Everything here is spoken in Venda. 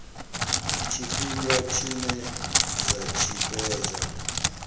tshifhinga tshine dza tshi fhedza